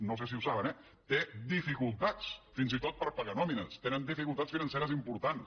no sé si ho saben eh té dificultats fins i tot per pagar nòmines tenen dificultats financeres importants